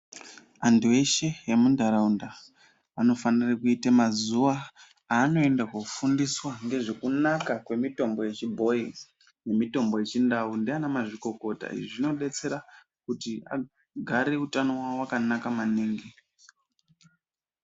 Antu eshe emundaraunda anofanire kuite mazuwa aanoenda koofundiswa ngezvekunaka kwemitombo yechibhoyi mitombo yechiNdau ndiana mazvikokota. Izvi zvinodetsera kuti agare utano wavo wakanaka maningi.